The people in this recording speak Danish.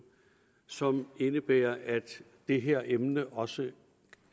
som indebærer at det her emne også